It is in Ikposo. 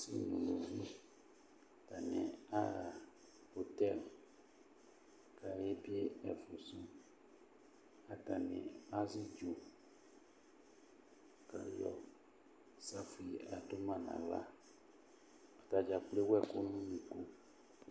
Atanɩ aɣa otɛl kayebie ɛfʋ sʋ, atanɩ azɩ ɩdzʋ, kʋ ayɔ ɩsafui yɔadʋ ma nʋ aɣla Atadza kplo ewu ɛkʋ nʋ unuku